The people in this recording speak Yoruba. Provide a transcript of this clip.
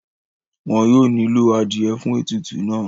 wọn yóò nílò adìẹ fún ètùtù náà